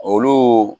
Olu